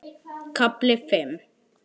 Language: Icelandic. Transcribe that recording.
KAFLI FIMM